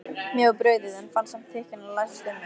Mér var brugðið, en fann samt þykkjuna læsast um mig.